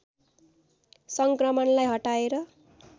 सङ्क्रमणलाई हटाएर